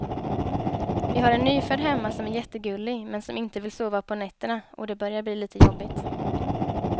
Vi har en nyfödd hemma som är jättegullig, men som inte vill sova på nätterna och det börjar bli lite jobbigt.